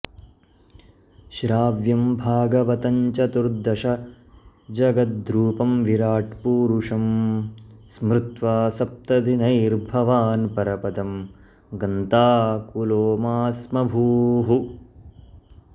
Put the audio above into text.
श्राव्यं भागवतं चतुर्दशजगद्रूपं विराट्पूरूषं स्मृत्वा सप्तदिनैर्भवान् परपदं गन्ताऽऽकुलो मा स्म भूः